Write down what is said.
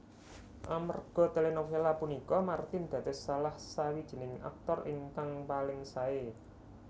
Amerga telenovela punika Martin dados salahsawijining aktor ingkang paling sae